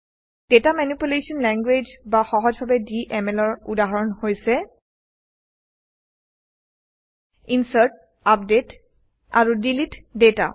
data manipulation language বা সহজভাৱে DMLৰ উদাহৰণ হৈছে ইনচাৰ্ট আপডেট আৰু ডিলিট data